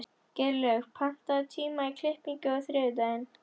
Geirlaugur, pantaðu tíma í klippingu á þriðjudaginn.